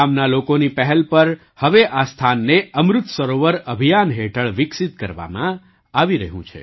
ગામના લોકોની પહેલ પર હવે આ સ્થાનને અમૃત સરોવર અભિયાન હેઠળ વિકસિત કરવામાં આવી રહ્યું છે